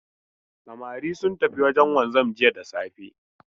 Samari sun tafi wajen wanzan jiya da safe.